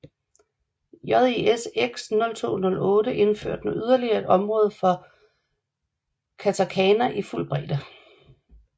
JIS X 0208 indførte nu yderligere et område for katakana i fuld bredde